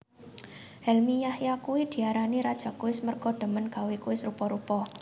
Helmy Yahya kuwi diarani raja kuis merga demen gawe kuis rupa rupa